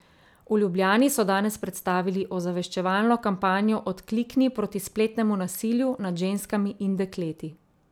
V Ljubljani so danes predstavili ozaveščevalno kampanjo Odklikni proti spletnemu nasilju nad ženskami in dekleti.